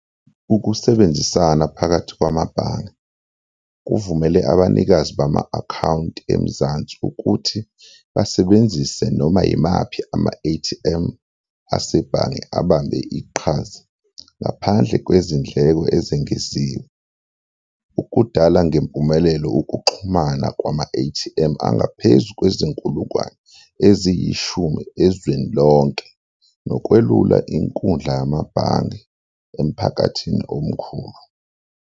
Ukusebenzisana phakathi kwamabhange kuvumele abanikazi bama-akhawunti eMzansi ukuthi basebenzise noma yimaphi ama-ATM asebhange abambe iqhaza ngaphandle kwezindleko ezengeziwe - ukudala ngempumelelo ukuxhumana kwama-ATM angaphezu kwezinkulungwane eziyishumi ezweni lonke nokwelula inkundla yamabhange emphakathini omkhulu.